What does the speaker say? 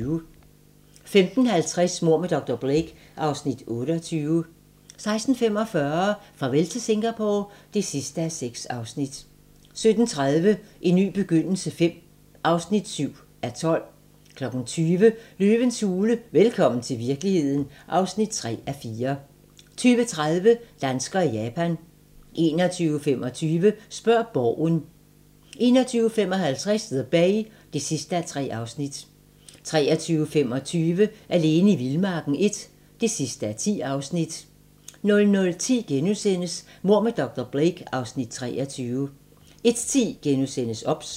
15:50: Mord med dr. Blake (Afs. 28) 16:45: Farvel til Singapore (6:6) 17:30: En ny begyndelse V (7:12) 20:00: Løvens hule - velkommen til virkeligheden (3:4) 20:30: Danskerne i Japan 21:25: Spørg Borgen 21:55: The Bay (3:3) 23:25: Alene i vildmarken I (10:10) 00:10: Mord med dr. Blake (Afs. 23)* 01:10: OBS *